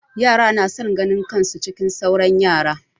Yara na son ganin kan su cikin sauran yara.